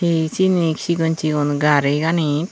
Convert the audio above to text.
he seni sigon sigon garigani.